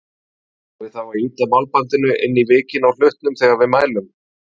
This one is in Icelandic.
Eigum við þá að ýta málbandinu inn í vikin á hlutnum þegar við mælum?